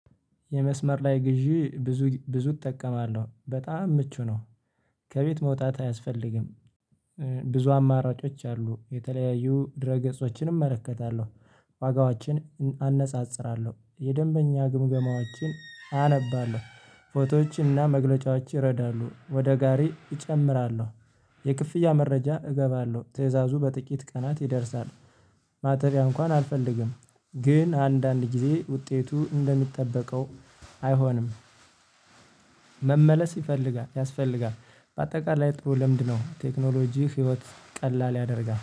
የመስመር ላይ ግዢ ብዙ ብዙ እጠቀማለሁ በጣም ምቹ ነው። ከቤት መውጣት አያስፈልግም። ብዙ አማራጮች አሉ የተለያዩ ድረ ገጾችንም እመለከታለሁ ዋጋዎችን አነጻጽራለሁ የደንበኛ ግምገማዎችን አነባለሁ። ፎቶዎችና መግለጫዎች ይረዳሉ ወደ ጋሪ እጨምራለሁ የክፍያ መረጃ እገባለሁ ትእዛዙ በጥቂት ቀናት ይደርሳል። ማጠቢያ እንኳን አልፈልግም። ግን አንዳንድ ጊዜ ውጤቱ እንደሚጠበቀው አይሆንም። መመለስ ይፈልጋል ያስፈልጋል። በአጠቃላይ ጥሩ ልምድነው ቴክኖሎጂ ህይወት ቀላል ያደርጋል